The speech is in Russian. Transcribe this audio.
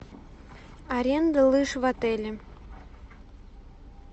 аренда лыж в отеле